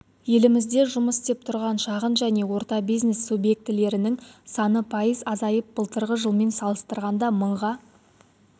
елімізде жұмыс істеп тұрған шағын және орта бизнес субъектілерінің саны пайыз азайып былтырғы жылмен салыстырғанда мыңға